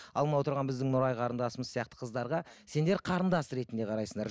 ал мынау тұрған біздің нұрай қарындасымыз сияқты қыздарға сендер қарындас ретінде қарайсыңдар